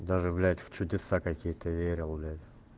даже блять в чудеса какие-то верил блять